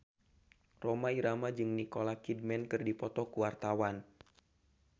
Rhoma Irama jeung Nicole Kidman keur dipoto ku wartawan